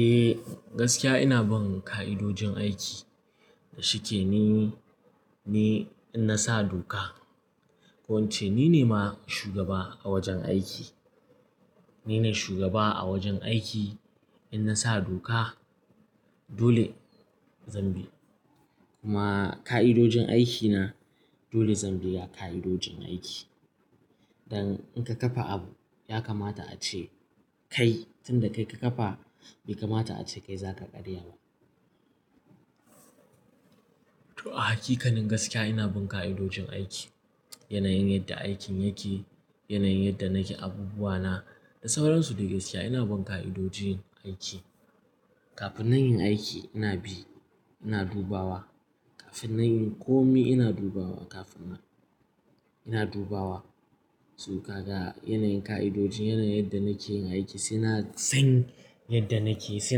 Eh, gaskiya ina bin ka'idojin aiki. Shike ni, ni in na sa doka. Ko ince nine ma shugaba a wajen aiki. Ni ne shugaba a wajen aiki in na sa doka dole zan bi. Kuma ka'idojin aiki na dole zan bi ya ka'idojin aiki. Dan in ka kafa abu ya kamata ace kai tun da kai ka kafa bai kamata ace kai zaka karya ba. To a hakikanin gaskiya ina bin ka'idojin aiki. Yanayin yadda aikin yake, yanayin yadda nake abubuwa na da sauransu. Eh gaskiya ina bin ka'idojin aiki. Kafin na yi aiki ina bi, ina dubawa. Kafin na yi komi ina dubawa. Kafin na-- ina dubawa. So kaga yanayin ka'idojin yanayin yadda nake yin aiki sai na san yadda nake, sai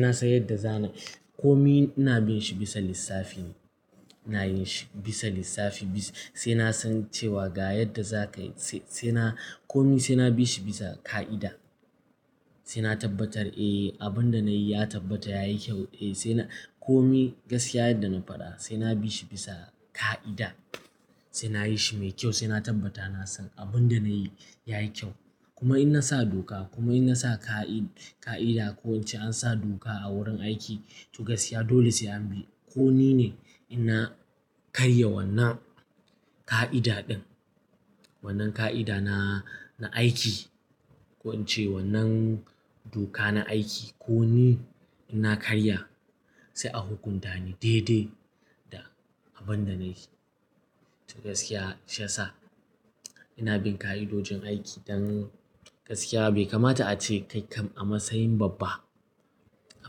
na san yadda za na-- komi ina bin shi bisa lissafi. Ina yinshi bisa lissafi sai na san cewa ga yadda za ka yi sai, sai na komi sai na bi shi bisa ka'ida. Sai na tabbatar eh abin da na yi ya tabbata yayi kyau. Eh sai na komi gaskiya yadda na faɗa sai na bi shi bisa ka'ida. Sai na yi shi mai kyau sai na tabbata na san abinda nayi yayi kyau. Kuma in na sa doka kuma in na sa ka'i-ka'ida ko in ce an sa doka a wurin aiki to gaskiya dole sai an bi. Ko nine in na karya wannan ka'ida ɗin, wannan ka'ida na, na aiki ko in ce wannan doka na aiki ko ni in na karya sai a hukunta ni daidai da abin da na yi. To gaskiya shiyasa ina bin ka'idojin aiki dan gaskiya bai kamata ace kai kam a matsayin babba, a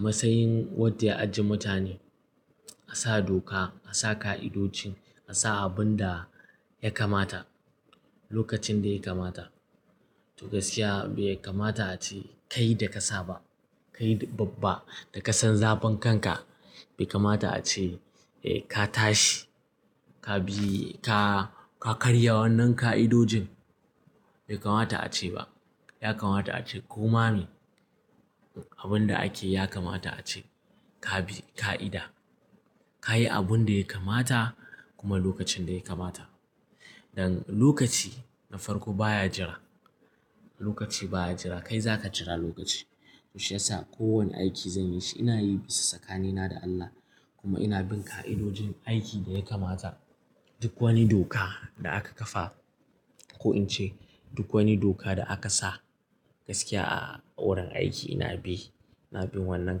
matsayin wadda ya ajiye mutane. A sa doka, a sa ka'idojin, a sa abin da ya kamata lokacin da ya kamata. To gaskiya bai kamata ace kai da ka sa ba. Kai babba da kasan zafin kanka bai kamata ace eh ka tashi, ka bi, ka, ka karya wannan ka'idojin bai kamata ace ba. Ya kamata ace koma me abin da ake ya kamata ace ka bi ka'ida. Ka yi abinda ya kamata kuma lokacin da ya kamata. Dan lokaci na farko baya jira. Lokaci baya jira. Kai zaka jira lokaci. To shiyasa kowane aiki zan yi shi ina yi bisa tsakanina da Allah kuma ina bin ka'idojin aiki da ya kamata. Duk wani doka da aka kafa ko in ce duk wani doka da aka sa gaskiya a wurin aiki ina bi. Ina bin wannan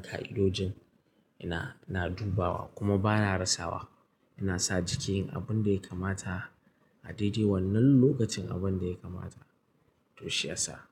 ka'idojin ina, ina dubawa kuma bana rasawa. Ina sa jiki yin abinda ya kamata a daidai wannan lokacin abinda ya kamata to shiyasa.